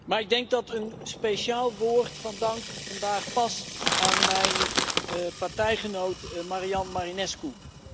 Maar ik denk dat een speciaal woord van dank vandaag past aan mijn partijgenoot Marian Marinescu.